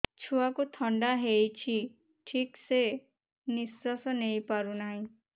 ଛୁଆକୁ ଥଣ୍ଡା ହେଇଛି ଠିକ ସେ ନିଶ୍ୱାସ ନେଇ ପାରୁ ନାହିଁ